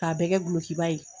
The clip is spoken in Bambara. K'a bɛɛ kɛ dulokiba ye